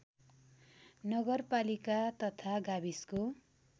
नगरपालिका तथा गाविसको